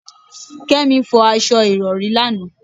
Kémi fọ aṣọ Ìrọ̀rí lánàá.